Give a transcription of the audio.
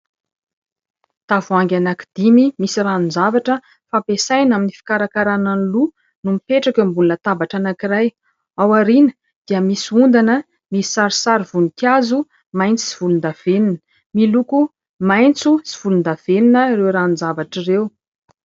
Tavoahangy anankidimy misy ranon-javatra fampiasaina amin'ny fikarakarana ny loha no mipetraka eo ambonina tabatra anankiray ; ao aoriana dia misy ondana misy sarisary voninkazo mainty sy volondavenona. Miloko maitso sy volondavenona ireo ranon-javatra ireo.